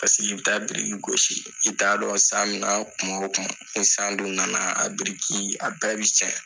Pasiki i bɛ taa biriki gosi i t'a dɔn san mina kuma o kuma ni san dun nana a biriki a bɛɛ bɛ cɛn